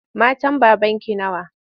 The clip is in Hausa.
Matan babanki nawa?